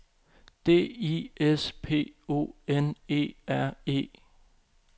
D I S P O N E R E